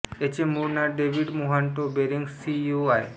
याचे मूळ नाव डेव्हिड मोहाटो बेरेंग सीइसो आहे